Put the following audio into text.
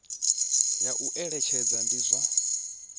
ya u eletshedza ndi zwa